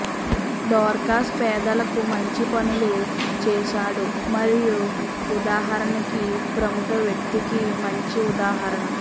Dorcas పేదలకు మంచి పనులు చేశాడు మరియు ఉదాహరణకి ప్రముఖ వ్యక్తికి మంచి ఉదాహరణ